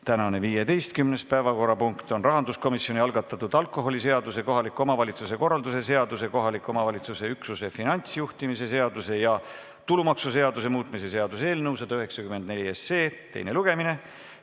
Tänane 15. päevakorrapunkt on Rahanduskomisjoni algatatud alkoholiseaduse, kohaliku omavalitsuse korralduse seaduse ja kohaliku omavalitsuse üksuse finantsjuhtimise seaduse ja tulumaksuseaduse muutmise seaduse eelnõu 194 teine lugemine.